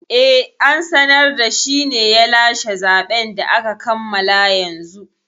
Eh, an sanar da shine ya lashe zaɓen da aka kammala yanzu